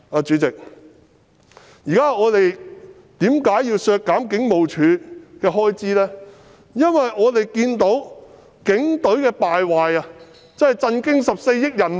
主席，我們為甚麼要削減警務處的開支，因為我們看到警隊的敗壞簡直震驚14億人民。